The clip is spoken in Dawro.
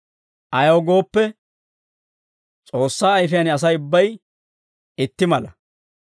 Ayaw gooppe, S'oossaa Ayifiyaan Asay ubbay itti mala.